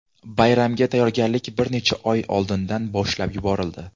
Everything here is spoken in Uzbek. Bayramga tayyorgarlik bir necha oy oldindan boshlab yuborildi.